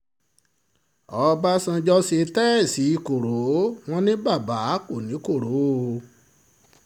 ọbànjọ́ ṣe tèèṣì tèèṣì koro wọn ní baba kò ní koro o